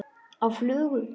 Á flugu?